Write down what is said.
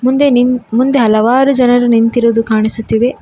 ಮುಂದೆ ನಿಂತ್ ಮುಂದೆ ಹಲವಾರು ಜನರು ನಿಂತಿರುವುದು ಕಾಣಿಸುತ್ತಿವೆ.